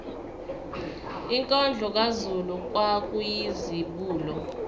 inkondlo kazulu kwakuyizibulo